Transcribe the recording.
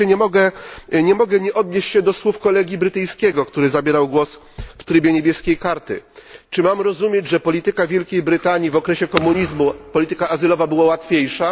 I wreszcie nie mogę nie odnieść się do słów kolegi brytyjskiego, który zabierał głos w procedurze niebieskiej kartki. Czy mam rozumieć, że polityka Wielkiej Brytanii w okresie komunizmu, polityka azylowa była łatwiejsza?